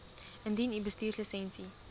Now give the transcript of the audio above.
indien u bestuurslisensie